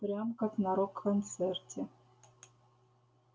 прям как на рок-концерте